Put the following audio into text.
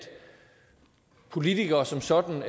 politikere som sådan